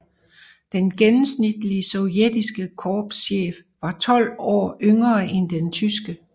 Den gennemsnitlige sovjetiske korpschef var 12 år yngre end den tyske